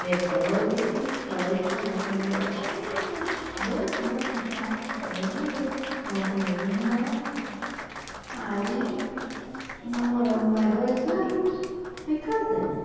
Depois é que ele foi, falou com o meu, acho que eram uns dois anos já, aí ele falou com o meu irmão, aí namoramos mais dois anos e casamos.